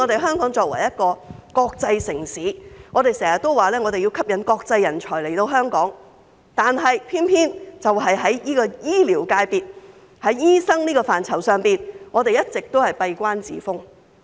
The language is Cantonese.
香港作為國際城市，經常說要吸引國際人才來港，但偏偏在醫療界別、在醫生這個範疇上，我們一直都閉關自封。